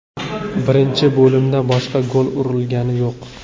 Birinchi bo‘limda boshqa gol urilgani yo‘q.